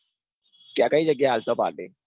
ક્યાં કઈ જગ્યાય આળસો party